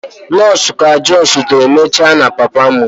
Nọọsụ ka justiri mecha na papa m.